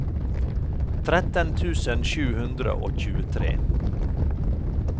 tretten tusen sju hundre og tjuetre